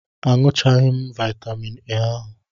Aṅụchaghị m vaitamin A ahu.